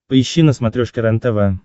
поищи на смотрешке рентв